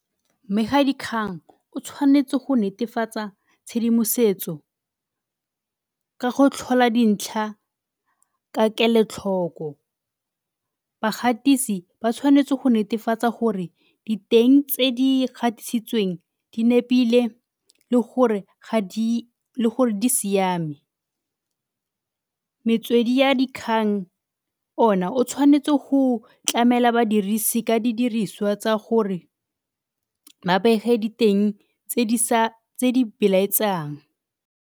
Mmegadikgang o tshwanetse go netefatsa tshedimosetso ka go tlhola dintlha ka kelotlhoko. Bagatisi ba tshwanetse go netefatsa gore diteng tse di gatisitsweng di nepile le gore ga di, le gore di siame. Metswedi ya dikgang ona o tshwanetse go tlamela badirisi ka didiriswa tsa gore ba bege diteng tse di belaetsang.